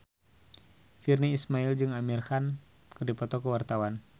Virnie Ismail jeung Amir Khan keur dipoto ku wartawan